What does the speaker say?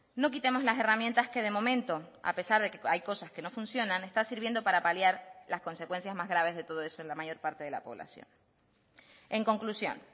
no quitemos las herramientas que de momento a pesar de que hay cosas que no funcionan está sirviendo para paliar las consecuencias más graves de todo eso en la mayor parte de la población en conclusión